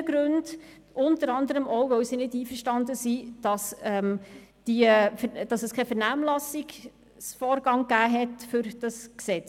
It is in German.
Ein Grund, weshalb einige nicht einverstanden sind, ist das Fehlen einer Vernehmlassung für dieses Gesetz.